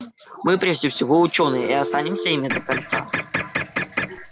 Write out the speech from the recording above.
мы прежде всего учёные и останемся ими до конца